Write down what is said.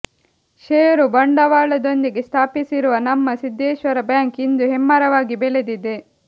ಷೇರು ಬಂಡವಾಳದೊಂದಿಗೆ ಸ್ಥಾಪಿಸಿರುವ ನಮ್ಮ ಸಿದ್ದೇಶ್ವರ ಬ್ಯಾಂಕ್ ಇಂದು ಹೆಮ್ಮರವಾಗಿ ಬೆಳೆದಿದೆ